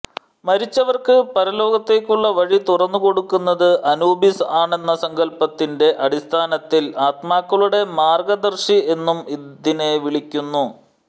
മരിച്ചവർക്ക് പരലോകത്തേക്കുള്ള വഴി തുറന്നുകൊടുക്കുന്നത് അനൂബിസ് ആണെന്ന സങ്കല്പത്തിന്റെ അടിസ്ഥാനത്തിൽ ആത്മാക്കളുടെ മാർഗദർശി എന്നും ഇതിനെ വിളിക്കുന്നു